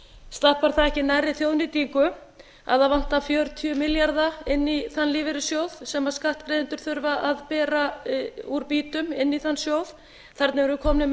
stappar það ekki nærri þjóðnýtingu að það vantar fjörutíu milljarða inn í þann lífeyrissjóð sem skattgreiðendur þurfa að bera út býtum inn í þann sjóð þarna erum við komin með